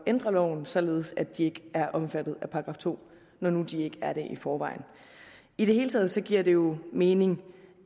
ændre loven således at de ikke er omfattet af § to når nu de ikke er det i forvejen i det hele taget giver det jo mening